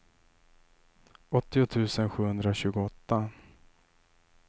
åttio tusen sjuhundratjugoåtta